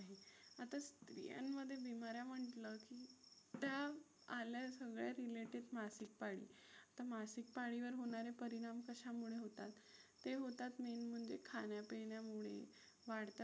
त्या आल्या सगळ्या related मासिक पाळी. तर मासिक पाळीवर होणारे परिणाम कशामुळे होतात? ते होतात main म्हणजे खाण्यापिण्यामुळे वाढत्या